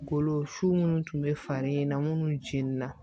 Golo su munnu tun be falen na munnu cin na